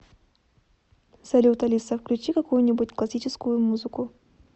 салют алиса включи какую нибудь классическую музыку